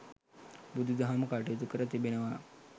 බුදු දහම කටයුතු කර තිබෙනවා.